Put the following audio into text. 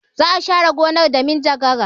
Za a share gonan da minjagara.